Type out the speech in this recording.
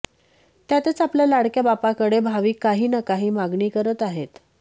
त्यातच आपल्या लाडक्या बाप्पाकडे भाविक काही ना काही मागणी करत आहेत